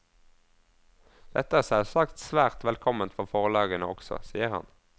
Dette er selvsagt svært velkomment for forlagene også, sier han.